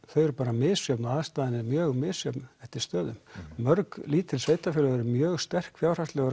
þau eru bara misjöfn og aðstæður eru mjög misjöfn eftir stöðum mörg lítil sveitarfélög eru mjög sterk fjárhagslega